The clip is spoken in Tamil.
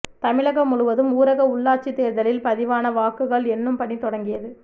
தமிழகம் முழுவதும் ஊரக உள்ளாட்சித் தோ்தலில் பதிவான வாக்குகள் எண்ணும் பணி தொடங்கியது